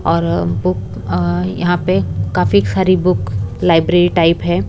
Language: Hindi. और बुक अ यहां पे काफी सारी बुक लाइब्रेरी टाइप है।